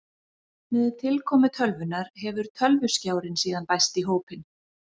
Með tilkomu tölvunnar hefur tölvuskjárinn síðan bæst í hópinn.